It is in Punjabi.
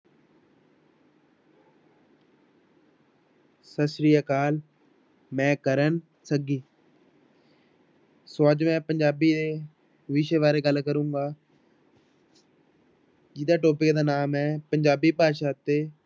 ਸਤਿ ਸ੍ਰੀ ਅਕਾਲ ਮੈਂ ਕਰਨ ਸੱਗੀ ਸੋ ਅੱਜ ਮੈਂ ਪੰਜਾਬੀ ਦੇ ਵਿਸ਼ੇ ਬਾਰੇ ਗੱਲ ਕਰਾਂਗੇ ਜਿਹਦਾ topic ਦਾ ਨਾਮ ਹੈ ਪੰਜਾਬੀ ਭਾਸ਼ਾ ਅਤੇ